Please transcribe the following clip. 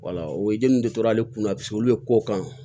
o ye den de tora ale kunna olu bɛ ko kan